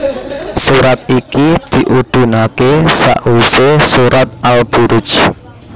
Surat iki diudhunaké sawisé surat Al Buruj